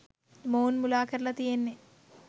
මොවුන් මුලා කරලා තියෙන්නේ.